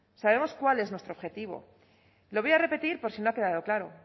sabemos cuál es nuestro objetivo lo voy a repetir por si no ha quedado claro